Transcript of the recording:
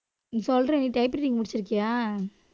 சொல்றேன் நீ typewriting முடிச்சிருக்கியா